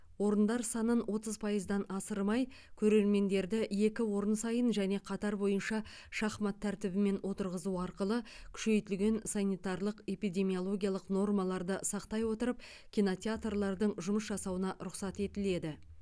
орындар санын отыз пайыздан асырмай көрермендерді екі орын сайын және қатар бойынша шахмат тәртібімен отырғызу арқылы күшейтілген санитарлық эпидемиологиялық нормаларды сақтай отырып кинотеатрлардың жұмыс жасауына рұқсат етіледі